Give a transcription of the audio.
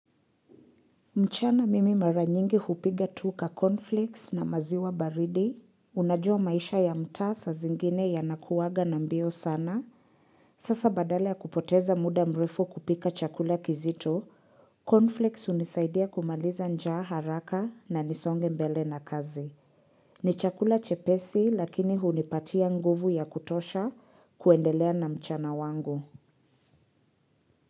Mchana mimi mara nyingi hupiga tuka cornflakes na maziwa baridi, unajua maisha ya mtaa saa zingine ya yanakuwaga na mbio sana, sasa badala ya kupoteza muda mrefu kupika chakula kizito, cornflakes hunisaidia kumaliza njaa haraka na na nisonge mbele na kazi. Ni chakula chepesi lakini hunipatia nguvu ya kutosha kuendelea na mchana wangu.